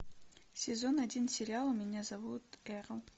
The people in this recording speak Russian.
сезон один сериала меня зовут эрл